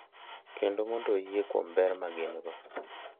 Kendo mondo oyie kuom ber ma gin-go.